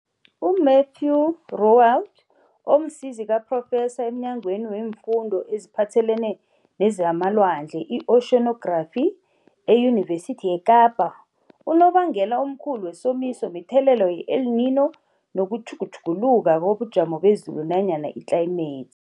Mathieu Roualt, omsizi kaphrofesa emNyangweni weemFundo eziPhathelene nezamaLwandle, i-Oceonography, eYunivesithi yeKapa, unobangela omkhulu wesomiso mithelela yeEl Nino nokutjhugutjhuguluka kobujamo bezulu nanyana itlayimethi.